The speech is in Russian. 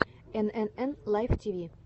энэнэн лайф тиви